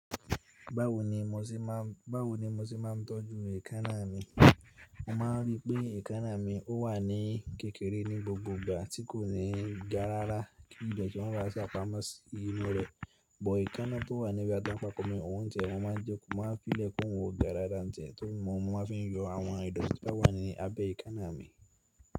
Báwo ni mo sé máa ń, báwo ni mo sé máa ń tọ́jú èékánná mi. Mo máa rí pé èékánná mi ó wà ní kékeré ní gbogbo ìgbà tí kò ní ga rára kí dèètí má bá sa pamọ́ sí inú rẹ̀. Bọ̀ èékánná tó wà níbi tí atàńko mí òún tí ẹ, mọn máa jẹ, mó máa n fí lẹ̀ k'oùn ga dáadáa tí ẹ́ tórí mọ́, mọn máa fi yọ àwọn ìdọ̀tí tó bá wà ní abẹ́ èékánná mi.